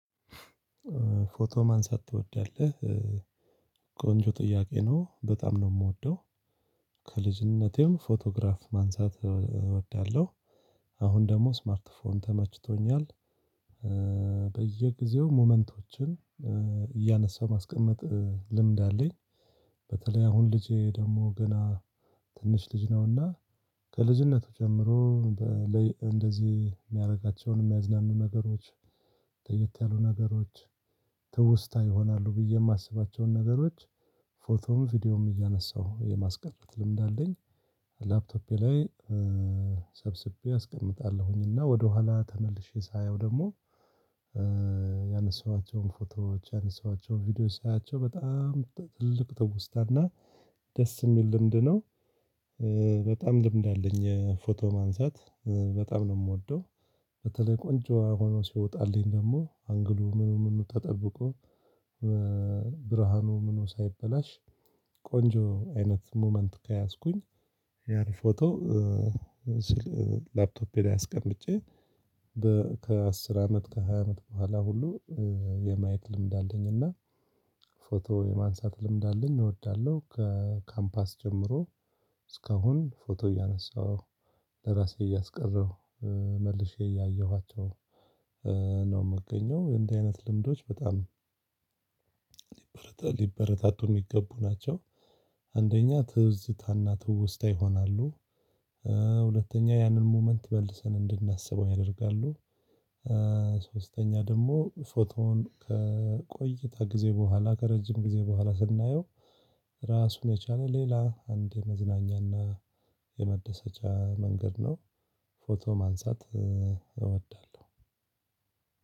ፎቶ ማንሳት ትወዳለህ? ቆንጆ ጥያቄ ነው በጣም ነው የምወደው ከልጅነቴም ፎቶግራፍ ማንሳት እወዳለሁ። አሁን ደግሞ ስማርት ፎን ተመችቶኛል በየጊዜው ሙመንቶችን እያነሳሁ ማስቀመጥ ልምድ አለኝ። በተለይ አሁን ልጄ ደግሞ ገና ትንሽ ልጅ ነውና ከልጅነቱ ጀምሮ እንደዚህ የሚያደርጋቸውን የሚያዝናኑ ነገሮች ለየት ያሉ ነገሮች ትውስታ ይሆናሉ ብዬ የማስባቸውን ነገሮች ፎቶም ቪዲዮም እያነሳሁ የማስቀመጥ ልምድ አለኝ። ላፕቶፔ ላይ ሰብስቤ አስቀምጣለሁኝና ወደኋላ ተመልሼ ሳየው ደግሞ ያነሳኋቸውን ፎቶዎች ያነሳኋቸውን ቪዲዮዎች ሳያቸው በጣም ትልቅ ትውስታና ደስ የሚል ልምድ ነው። በጣም ልምድ አለኝ የፎቶ ማንሳት በጣም ነው የምወደው። በተለይ ቆንጆ ሆኖ ሲወጣልኝ ደግሞ አንግሉ ምኑ ምኑ ተጠብቆ ብርሃኑ ምኑ ሳይበላሽ ቆንጆ አይነት ሙመንት ከያዝኩኝ ያን ፎቶ። ላፕቶፔ ላይ አስቀምጬ በከአስር አመት ከሃያ አመት በኋላ ሁሉ የማየት ልምድ አለኝ እና ፎቶ የማንሳት ልምድ አለኝ። እወዳለሁ ከካምፓስ ጀምሮ እስካሁን ፎቶ እያነሳሁ ለራሴ እያስቀረው መልሼ እያየኋቸው ነው የምገኘው እንዲህ አይነት ልምዶች በጣም ሊበረታቱ የሚገቡ ናቸው። አንደኛ ትዝታና ትውስታ ይሆናሉ ሁለተኛ ያንን ሙመንት መልሰን እንድናስበው ያደርጋሉ። ሶስተኛ ደግሞ ፎቶውን ከቆይታ ጊዜ በኋላ ከረጅም ጊዜ በኋላ ስናየው ራሱን የቻለ ሌላ አንድ የመዝናኛና የመደሰቻ መንገድ ነው። ፎቶ ማንሳት እወዳለሁ።